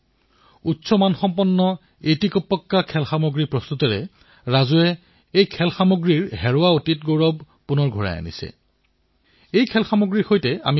বন্ধুসকল আত্মনিৰ্ভৰ ভাৰত অভিযানৰ ভাৰ্চুৱেল গেমেই হওক পুতলাৰ ক্ষেত্ৰই হওক সকলোৱে গুৰুত্বপূৰ্ণ ভূমিকা পালন কৰিব লাগিব আৰু এই অৱকাশৰো এতিয়া সৃষ্টি হৈছে